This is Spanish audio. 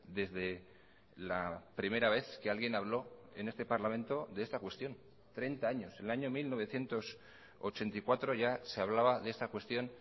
desde la primera vez que alguien habló en este parlamento de esta cuestión treinta años el año mil novecientos ochenta y cuatro ya se hablaba de esta cuestión